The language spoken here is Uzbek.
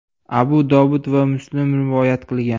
Abu Dovud va Muslim rivoyat qilgan.